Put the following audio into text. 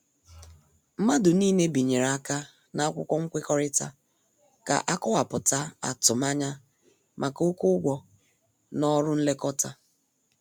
Mmadụ niile binyere aka na akwụkwọ nwekorita ka- akowaputa atumanya maka oké ụgwọ na ọrụ nlekọta.